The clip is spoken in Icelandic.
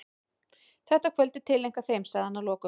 Þetta kvöld er tileinkað þeim, sagði hann að lokum.